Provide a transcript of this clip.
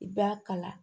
I b'a kala